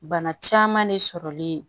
Bana caman de sɔrɔli